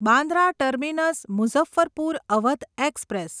Bandra terminus Muzaffarpur Awadh express